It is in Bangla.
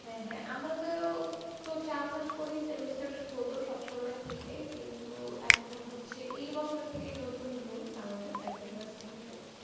হ্যাঁ হ্যাঁ আমাদের ও তো চার মাস করেই semester হত সবসময় থেকেই কিন্তু এখন হচ্ছে এই বছর থেকেই নতুন rules আমাদের আর কি university তে,